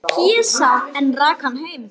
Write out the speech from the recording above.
Pésa, en rak hann heim.